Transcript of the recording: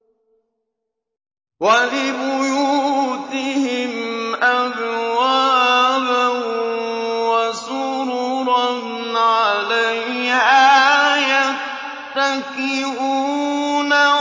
وَلِبُيُوتِهِمْ أَبْوَابًا وَسُرُرًا عَلَيْهَا يَتَّكِئُونَ